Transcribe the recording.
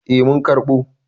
Eh mun karɓo.